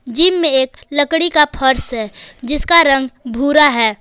Gym में एक लकड़ी का फर्श है जिसका रंग भूरा है।